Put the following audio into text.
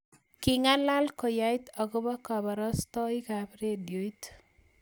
king'alal koyait akobo kaborostoikab redioit